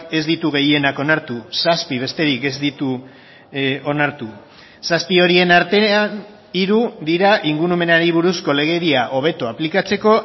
ez ditu gehienak onartu zazpi besterik ez ditu onartu zazpi horien artean hiru dira ingurumenari buruzko legedia hobeto aplikatzeko